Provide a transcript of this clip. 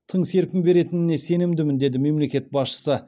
тың серпін беретініне сенімдімін деді мемлекет басшысы